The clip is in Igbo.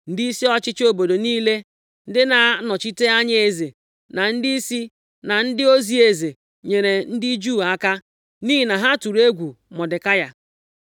Ndịisi ọchịchị obodo niile, ndị na-anọchite anya eze, na ndịisi, na ndị ozi eze, nyeere ndị Juu aka, nʼihi na ha tụrụ egwu Mọdekai.